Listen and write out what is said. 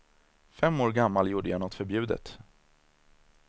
Fem år gammal gjorde jag nåt förbjudet.